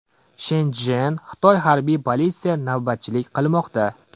Shenchjen, Xitoy Harbiy politsiya navbatchilik qilmoqda.